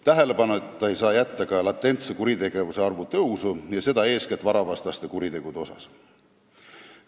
Tähelepanuta ei saa jätta ka latentsete kuritegude arvu tõusu ja seda eeskätt varavastaste kuritegude puhul.